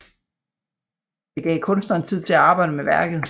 Det gav kunstneren tid til at arbejde med værket